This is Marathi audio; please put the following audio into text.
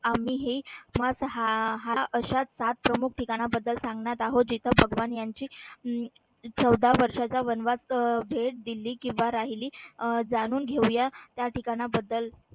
आम्ही ही अशा सात प्रमुख ठिकाणाबद्दल सांगणार. आहो जिथ भगवान यांची चौदा वर्षाचा वनवास भेट दिली. किंवा राहिली अह जाणून घेऊया त्या ठिकाणाबद्दल